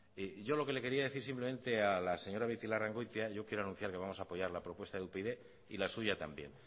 yo lo que le quería decir simplemente a la señora beitialarrangoitia yo quiero anunciar que vamos a apoyar la propuesta de upyd y la suya también